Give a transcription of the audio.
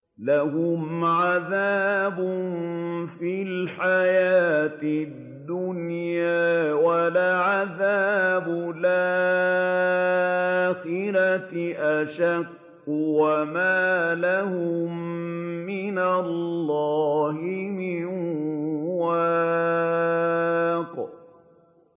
لَّهُمْ عَذَابٌ فِي الْحَيَاةِ الدُّنْيَا ۖ وَلَعَذَابُ الْآخِرَةِ أَشَقُّ ۖ وَمَا لَهُم مِّنَ اللَّهِ مِن وَاقٍ